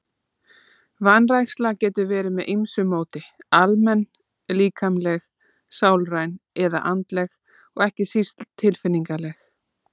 Vanræksla getur verið með ýmsu móti, almenn, líkamleg, sálræn eða andleg og ekki síst tilfinningaleg.